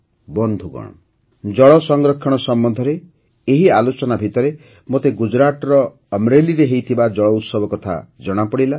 ବନ୍ଧୁଗଣ ଜଳ ସଂରକ୍ଷଣ ସମ୍ବନ୍ଧରେ ଏଇ ଆଲୋଚନା ଭିତରେ ମୋତେ ଗୁଜରାଟର ଅମରେଲିରେ ହୋଇଥିବା ଜଳ ଉତ୍ସବ କଥା ଜଣାପଡ଼ିଲା